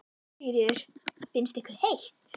Sigríður: Finnst ykkur heitt?